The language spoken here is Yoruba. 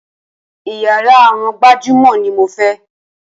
Iyàrá àwọn gbajúmọ̀ ní mo fẹ́!